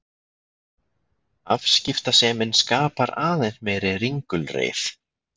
Afskiptasemin skapar aðeins meiri ringulreið.